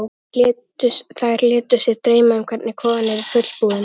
Þær létu sig dreyma um hvernig kofinn yrði fullbúinn.